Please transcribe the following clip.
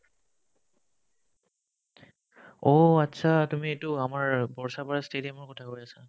অ', achcha তুমি এইটো আমাৰ বৰচাপাৰা stadium কথা কৈ আছা